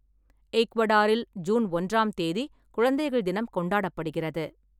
ஈக்வடாரில், June ஒன்றாம் தேதி குழந்தைகள் தினம் கொண்டாடப்படுகிறது.